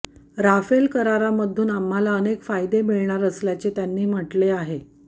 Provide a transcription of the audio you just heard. Rafale करारामधून आम्हाला अनेक फायदे मिळणार असल्याचे त्यांनी म्हटले आहे